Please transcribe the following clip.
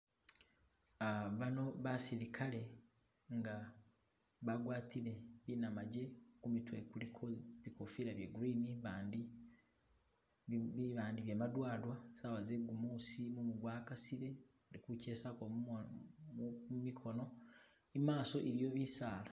Bano basilikale nga bagwatile binamaje kumitwe kuliko bikofila bye green bandi bye madowadowa sawa zegumusi mumu gwakasile bali kuchesako mumikono imaso iliyo bisaala